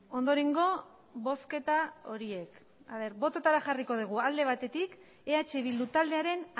ondorengo bozketa horiek bototara jarriko dugu alde batetik eh bildu taldearen